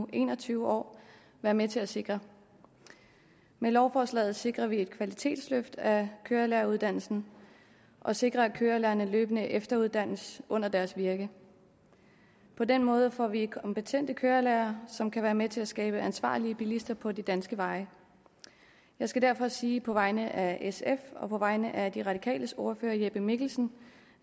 en og tyve år være med til at sikre med lovforslaget sikrer vi et kvalitetsløft af kørelæreruddannelsen og sikrer at kørelærerne løbende efteruddannes under deres virke på den måde får vi kompetente kørelærere som kan være med til at skabe ansvarlige bilister på de danske veje jeg skal derfor sige på vegne af sf og på vegne af de radikales ordfører herre jeppe mikkelsen